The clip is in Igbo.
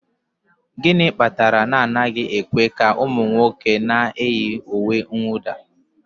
Gịnị kpatara na anaghị ekwe ka ụmụ nwoke na-eyi uwe mwụda?